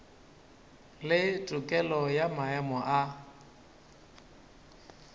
le tokelo ya maemo a